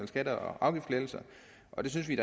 skatte og afgiftslettelser og det synes vi